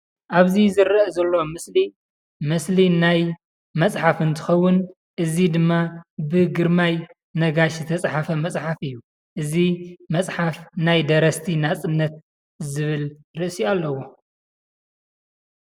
ኣብዚ ዝረአ ዘሎ ምስሊ ምስሊ ናይ መፅሓፍ እንትከውን እዚ ድማ ብግረማይ ነጋሽ ዝተፃሕፈ መፅሓፍ እዩ ።እዚ መፅሓፍ ናይ ደረስቲ ናፅነት ዝብል ርእሲ አለዎ ፡፡